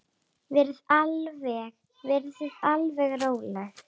Verið þið alveg róleg.